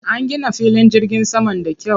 An gina filin jirgin saman da kyau.